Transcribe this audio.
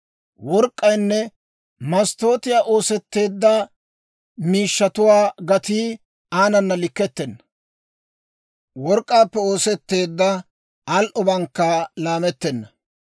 Work'k'aynne masttootiyaa oosetteedda miishshatuwaa gatii aanana likkettenna; work'k'aappe oosetteedda al"obankka laamettenna.